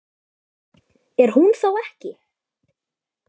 Er hún þá ekki?